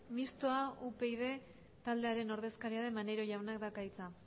mistoa upyd taldearen ordezkaria den maneiro jaunak dauka hitza